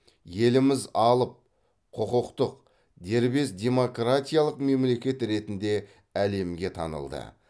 еліміз алып құқықтық дербес демократиялық мемлекет ретінде әлемге танылды